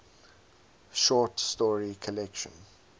short story collection